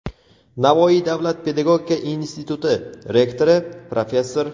Navoiy davlat pedagogika instituti rektori, professor;.